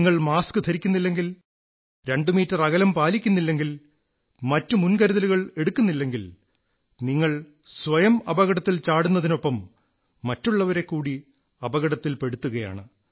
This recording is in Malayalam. നിങ്ങൾ മാസ്ക് ധരിക്കുന്നില്ലെങ്കിൽ ആറടി അകലം പാലിക്കുന്നില്ലെങ്കിൽ മറ്റു മുൻകരുതലുകൾ എടുക്കുന്നില്ലെങ്കിൽ നിങ്ങൾ സ്വയം അപകടത്തിൽ ചാടുന്നതിനൊപ്പം മറ്റുള്ളവരെക്കൂടി അപകടത്തിൽ പെടുത്തുകയാണ്